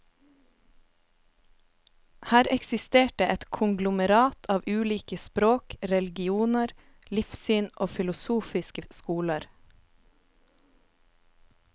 Her eksisterte et konglomerat av ulike språk, religioner, livssyn og filosofiske skoler.